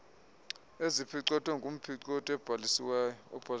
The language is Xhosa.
eziphicothwe ngumphicothi obhalisiweyo